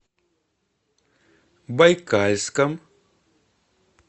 байкальском